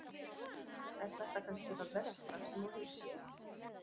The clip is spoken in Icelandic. Er þetta kannski það versta sem þú hefur séð?